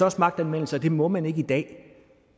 også magtanvendelse og det må man ikke i dag